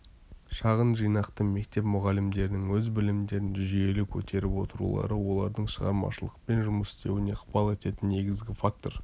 шағын жинақты мектеп мұғалімдерінің өз білімдерін жүйелі көтеріп отырулары олардың шығармашылықпен жұмыс істеуіне ықпал ететін негізгі фактор